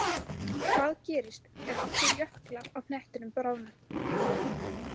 Hvað gerist ef allir jöklar á hnettinum bráðna?